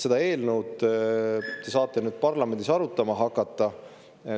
Seda eelnõu te saate nüüd parlamendis arutama hakata.